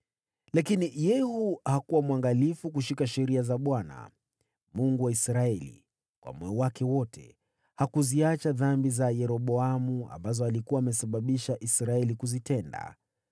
Lakini Yehu hakuwa mwangalifu kushika sheria za Bwana , Mungu wa Israeli, kwa moyo wake wote. Hakuziacha dhambi za Yeroboamu, ambazo alikuwa amesababisha Israeli kuzitenda.